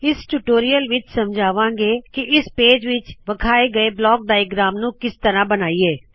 ਇਸ ਟਿਊਟੋਰੀਅਲ ਵਿਚ ਸਮਝਾਵਾੰ ਗੇ ਕਿ ਇਸ ਪੇਜ ਵਿਚ ਵਿਖਾਏ ਗਏ ਬਲੌਕ ਡਾਇਆਗ੍ਰਾਮ ਨੂ ਕਿਸ ਤਰਹ ਬਨਾਇਏ